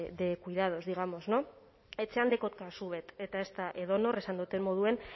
de cuidados digamos no etxean dekot kasu bet eta ez da edonor esan dudan moduan